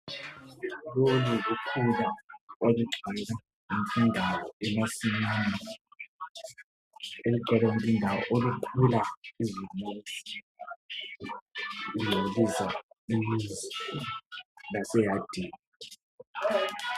Lolu lukhula olugcwele yonke indawo emasimini, olugcwele yonke indawo olukhula lungcolisa imizi laseyadini